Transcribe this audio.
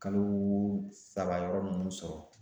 Kalo saba yɔrɔ nunnu sɔrɔ.